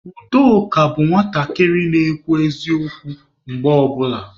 Udoka bụ nwatakịrị na-ekwu eziokwu mgbe ọ bụla.